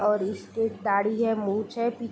और स्टेट दाढ़ी है मुछ है | पि --